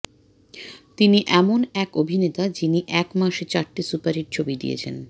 তিনি এমন এক অভিনেতা যিনি এক মাসে চারটে সুপারহিট ছবি দিয়েছেন